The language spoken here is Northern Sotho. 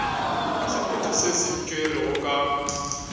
sephetho se se tšerwego ka